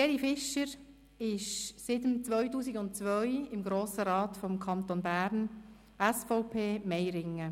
Gerhard Fischer ist seit 2002 im Grossen Rat des Kantons Bern: SVP, Meiringen.